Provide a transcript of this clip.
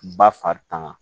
Ba fari tanga